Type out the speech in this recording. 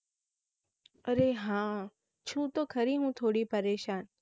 અરે હા છું તો ખરી હું થોડી પરેશાન